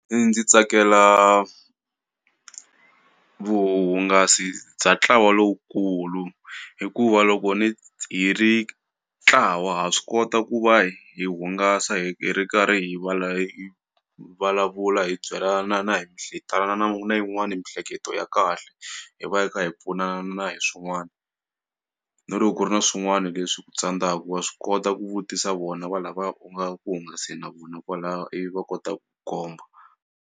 Ndzi tsakela vuhungasi bya ntlawa lowukulu hikuva loko hi ri ntlawa ha swi kota ku va hi hungasa hi ri karhi hi vulavula hi byelana na hi na yin'wani miehleketo ya kahle hi va hi kha hi pfunana na hi swin'wani na loko ku ri na swin'wani leswi ku tsandzaka wa swi kota ku vutisa vona va lavaya u nga ku hungaseni na vona kwalaya ivi va kota ku komba.